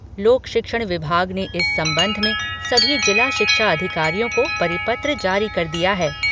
लोक शिक्षण विभाग ने इस संबंध में सभी जिला शिक्षा अधिकारियों को परिपत्र जारी कर दिया है।